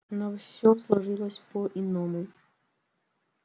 но всё сложилось по иному